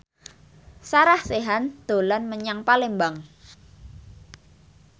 Sarah Sechan dolan menyang Palembang